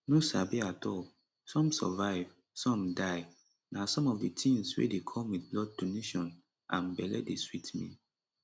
no sabi at all some survive some die na some of di tins wey dey come wit blood donation and belle dey sweet me